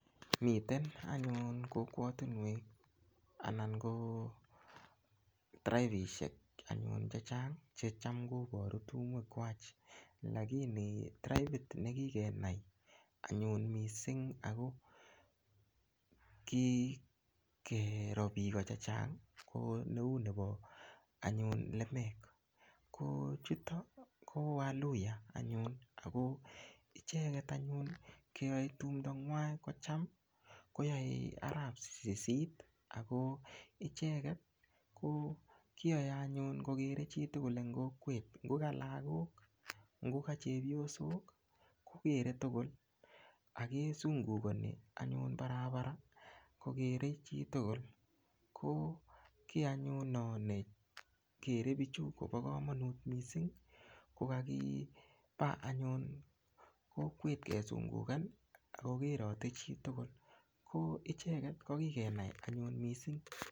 Miten anyun kokwotunwek anan ko tribishek chechang cheichamkoporu tumwek kwach lakini tribit nekikenai anyun mising ako kikero piko chechang ko neu nopo anyun lemek ko chuto ko waluhya anyun ako icheget anyun keyoe tumdo ng'wan kocham koyoei arap sisit ako icheget kiyoe anyun kokerkeit chitugul eng kokwet ngoka lakok ngoka chepyosok kokerkeit tugul akesungukani barabara kokerkeit chitugul ko kiy anyun no nekerei pichu kopo kamanut mising kokakipa anyun kokwet kesungukan akokerote chitugul ko icheget kokikenai anyun mising